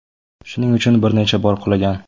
Shuning uchun bir necha bor qulagan.